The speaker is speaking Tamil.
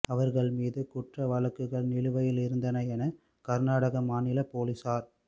அவர்கள் மீது குற்ற வழக்குகள் நிலுவையில் இருந்தன என கர்நாடக மாநில போலீசார்